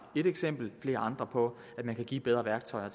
et eksempel flere andre på at man kan give bedre værktøjer